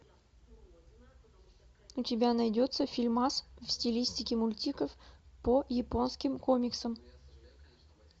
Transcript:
у тебя найдется фильмас в стилистике мультиков по японским комиксам